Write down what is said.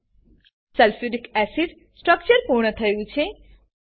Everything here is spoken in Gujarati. sulphuric acid sulphuric acid structure પૂર્ણ થયું છે